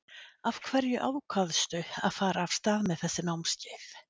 Af hverju ákvaðstu að fara af stað með þessi námskeið?